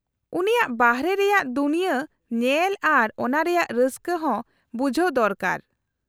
-ᱩᱱᱤᱭᱟᱜ ᱵᱟᱨᱦᱮ ᱨᱮᱭᱟᱜ ᱫᱩᱱᱭᱟᱹ ᱧᱮᱞ ᱟᱨ ᱚᱱᱟ ᱨᱮᱭᱟᱜ ᱨᱟᱹᱥᱠᱟᱹ ᱦᱚᱸ ᱵᱩᱡᱦᱟᱹᱣ ᱫᱚᱨᱠᱟᱨ ᱾